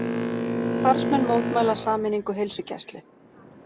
Starfsmenn mótmæla sameiningu heilsugæslu